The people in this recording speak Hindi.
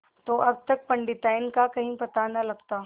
तो अब तक पंडिताइन का कहीं पता न लगता